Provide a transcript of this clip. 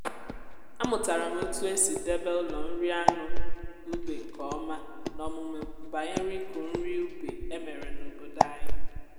amụtara m otu esi debe ụlọ nri anụ ube nke ọma n’ọmụmụ banyere ịkụ nri ube e mere n’obodo anyị.